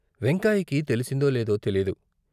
వెంకాయికి తెలిసిందో లేదో తెలియదు.